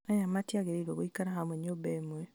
aya matiagĩrĩirwo gũikara hamwe nyũmba ĩmwe